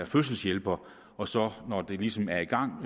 fødselshjælper og så når det ligesom er i gang